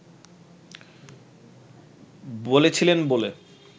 বলেছিলেন বলে